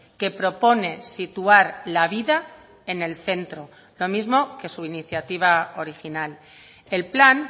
que propone situar la vida en el centro lo mismo que su iniciativa original el plan